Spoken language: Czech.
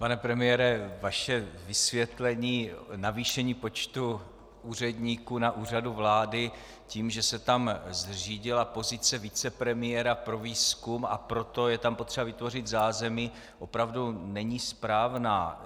Pane premiére, vaše vysvětlení navýšení počtu úředníků na Úřadu vlády tím, že se tam zřídila pozice vicepremiéra pro výzkum, a proto je tam potřeba vytvořit zázemí, opravdu není správné.